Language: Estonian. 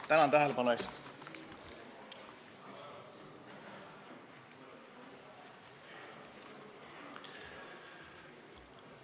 Tänan tähelepanu eest!